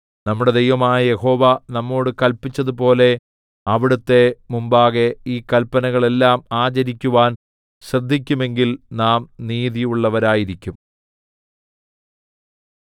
നമ്മുടെ ദൈവമായ യഹോവ നമ്മോട് കല്പിച്ചതുപോലെ അവിടുത്തെ മുമ്പാകെ ഈ കല്പനകളെല്ലാം ആചരിക്കുവാൻ ശ്രദ്ധിക്കുമെങ്കിൽ നാം നീതിയുള്ളവരായിരിക്കും